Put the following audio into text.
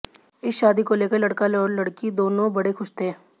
इस शादी को लेकर लड़का और लड़की दोनों बड़े खुश थे